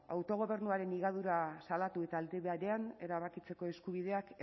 autogobernuaren higadura salatu eta aldi berean erabakitzeko eskubideak